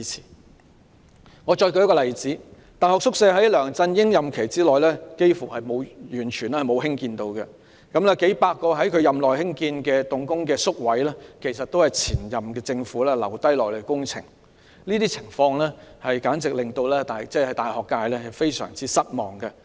讓我再舉一個例子，在梁振英擔任行政長官的任期內幾乎完全沒有興建大學宿舍，數百個在他任內興建動工的宿位其實也是前任政府遺留下來的工程，令大學界非常失望。